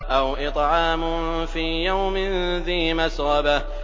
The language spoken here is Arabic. أَوْ إِطْعَامٌ فِي يَوْمٍ ذِي مَسْغَبَةٍ